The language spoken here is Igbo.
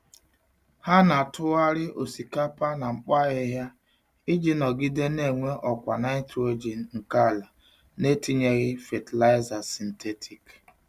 Ha na-atụgharị osikapa na mkpo ahịhịa iji nọgide na-enwe ọkwa nitrogen nke ala na-etinyeghị fatịlaịza sịntetik.